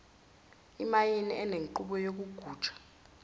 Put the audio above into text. imayini enenqubo yokugujwa